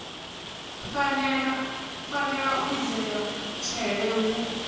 fanelwa u lidzelwa tshele hu